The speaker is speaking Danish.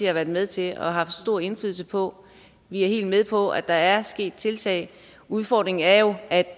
har været med til og haft stor indflydelse på vi er helt med på at der er sket tiltag udfordringen er jo at